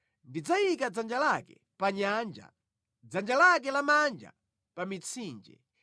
Ndidzayika dzanja lake pa nyanja, dzanja lake lamanja pa mitsinje.